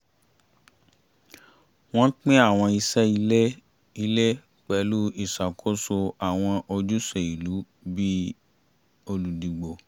wọ́n pín àwọn iṣẹ́ ilé ilé pẹ̀lú ìṣàkóso àwọn ojúṣe ìlú bí i olùdìbò